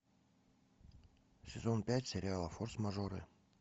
сезон пять сериала форс мажоры